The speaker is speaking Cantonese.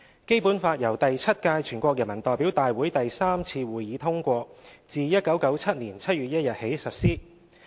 《基本法》由第七屆全國人民代表大會第三次會議通過，自1997年7月1日起實施。